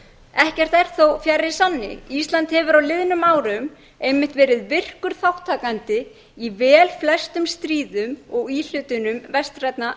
ekkert er þó fjær sanni ísland hefur á liðnum árum einmitt verið virkur þátttakandi í velflestum stríðum og íhlutunum vestrænna